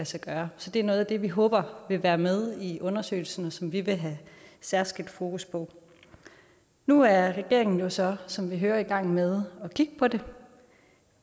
sig gøre så det er noget af det vi håber vil være med i undersøgelsen og som vi vil have særskilt fokus på nu er regeringen jo så som vi hører i gang med at kigge på det